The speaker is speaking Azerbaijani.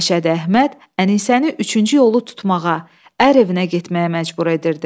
Məşədi Əhməd Ənisəni üçüncü yolu tutmağa, ər evinə getməyə məcbur edirdi.